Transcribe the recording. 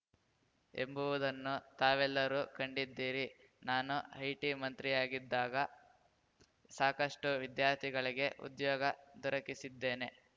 ಎಂಬುವುದನ್ನು ತಾವೆಲ್ಲರೂ ಕಂಡಿದ್ದೀರಿ ನಾನು ಆಯ್ಟಿ ಮಂತ್ರಿಯಿದ್ದಾಗ ಸಾಕಷ್ಟು ವಿದ್ಯಾರ್ಥಿಗಳಿಗೆ ಉದ್ಯೋಗ ದೊರಕಿಸಿದ್ದೇನೆ